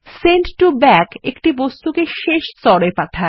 send to back একটা বস্তুকে শেষ স্তর এ পাঠায়